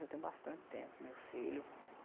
Eu tenho bastante tempo com meus filhos.